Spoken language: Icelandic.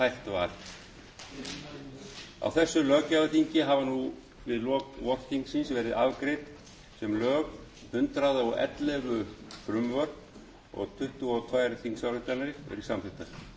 var á þessu löggjafarþingi hafa nú við lok vorþingsins verið afgreidd sem lög hundrað og ellefu frumvörp og tuttugu og tvær þingsályktanir verið samþykktar fyrirhugað er þó að afgreiða